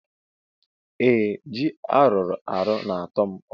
Ee ji aruarụ na atọm ụtọ.